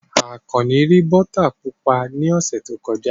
Akanni rí bọ́tà pupa ní ọ̀sẹ̀ tó kọjá.